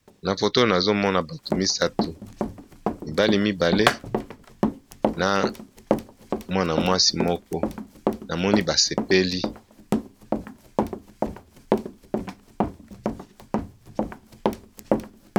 Na foto oyo nazomona bato misato, mibali mibale na mwana mwasi moko, namoni ba sepeli.